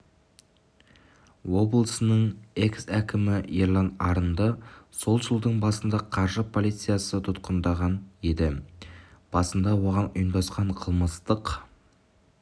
облысының экс-әкімі ерлан арынды сол жылдың басында қаржы полициясы тұтқындаған еді басында оған ұйымдасқан қылмыстық